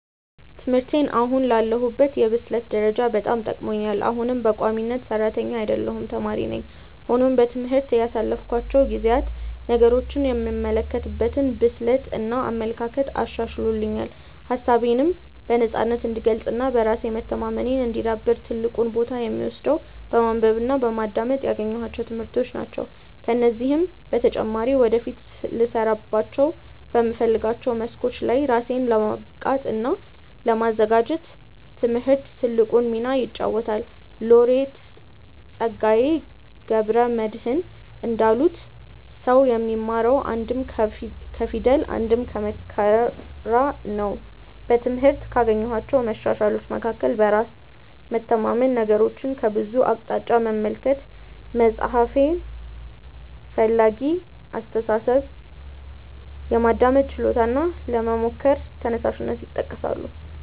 ትምህርቴ አሁን ላለሁበት የብስለት ደረጃ በጣም ጠቅሞኛል። አሁንም በቋሚነት ሰራተኛ አይደለሁም ተማሪ ነኝ። ሆኖም በትምህርት ያሳለፍኳቸው ጊዜያት ነገሮችን የምመለከትበትን ብስለት እና አመለካከት አሻሽሎልኛል። ሀሳቤነም በነፃነት እንድገልፅ እና በራስ መተማመኔ እንዲዳብር ትልቁን ቦታ የሚወስደው በማንበብ እና በማዳመጥ ያገኘኋቸው ትምህርቶች ናቸው። ከዚህም በተጨማሪ ወደፊት ልሰራባቸው በምፈልጋቸው መስኮች ላይ ራሴን ለማብቃት እና ለማዘጋጀት ትምህርት ትልቁን ሚና ይጫወታል። ሎሬት ፀጋዬ ገብረ መድህን እንዳሉት "ሰው የሚማረው አንድም ከፊደል አንድም ከመከራ ነው"።በትምህርት ካገኘኋቸው መሻሻሎች መካከል በራስ መተማመን፣ ነገሮችን ከብዙ አቅጣጫ መመልከት፣ መፍትሔ ፈላጊ አስተሳሰብ፣ የማዳመጥ ችሎታ እና ለመሞከር ተነሳሽነት ይጠቀሳሉ።